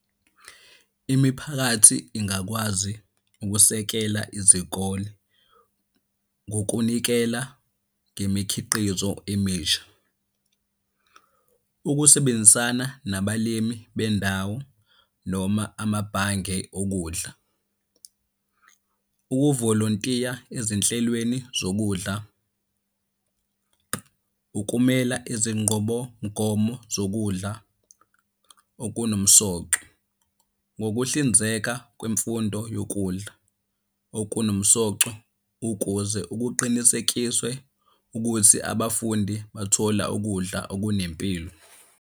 Imiphakathi ingakwazi ukusekela izikole ngokunikela ngemikhiqizo emisha. Ukusebenzisana nabalimi bendawo noma amabhange okudla. Ukuvolontiya ezinhlelweni zokudla, ukumela izingqobomgomo zokudla okunomsoco, ngokuhlinzeka kwemfundo yokudla okunomsoco ukuze ukuqinisekiswe ukuthi abafundi bathola ukudla okunempilo.